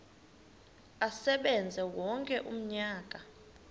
asebenze wonke umnyaka